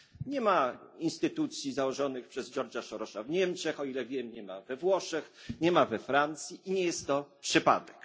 Nie ma instytucji założonych przez George'a Sorosa w Niemczech, o ile wiem, nie ma we Włoszech, nie ma we Francji, i nie jest to przypadek.